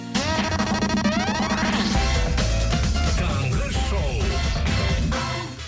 таңғы шоу